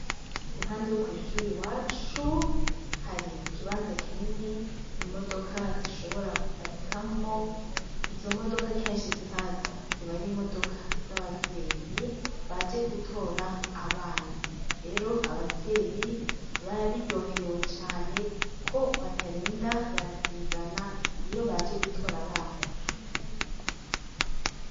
Impande y kwishure iwacu hari ikibanza kinini imodoka zishobora kuparikamwo. Izo modoka kenshi zihaza ziba ari imodoka z'abavyeyi baje gutora abana. Rero abavyeyi barabiryoherewe cane ko batarinda barasigana iyo baje gutora abana.